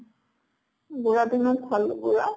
বুঢ়াটো ইমান ভাল বুঢ়া